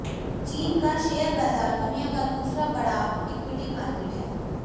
चीन का शेयर बाजार दुनिया का दूसरा बड़ा इक्विटी मार्केट है